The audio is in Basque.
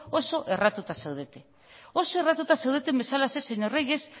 oso erratuta zaudete oso erratuta zaudeten bezalaxe señor reyes